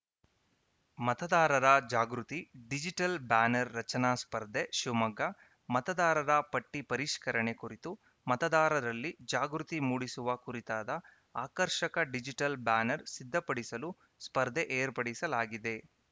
ಮತದಾರರ ಜಾಗೃತಿ digital banner ರಚನಾ ಸ್ಪರ್ಧೆ ಶಿವಮೊಗ್ಗ ಮತದಾರರ ಪಟ್ಟಿಪರಿಷ್ಕರಣೆ ಕುರಿತು ಮತದಾರರಲ್ಲಿ ಜಾಗೃತಿ ಮೂಡಿಸುವ ಕುರಿತಾದ ಆಕರ್ಷಕ ಡಿಜಿಟಲ್‌ ಬ್ಯಾನರ್‌ ಸಿದ್ಧಪಡಿಸಲು ಸ್ಪರ್ಧೆ ಏರ್ಪಡಿಸಲಾಗಿದೆ